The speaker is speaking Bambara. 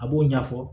A b'o ɲɛfɔ